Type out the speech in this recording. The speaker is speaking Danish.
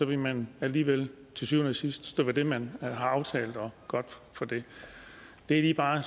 vil man alligevel til syvende og sidst stå ved det man har aftalt og godt for det det jeg bare